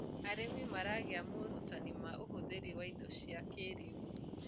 arĩmi maragia morutanĩ ma ũhũthiri wa indo cia kĩiriu